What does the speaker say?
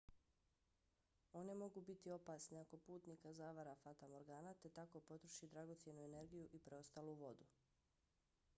one mogu biti opasne ako putnika zavara fatamorgana te tako potroši dragocjenu energiju i preostalu vodu